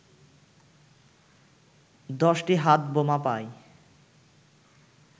১০টি হাতবোমা পায়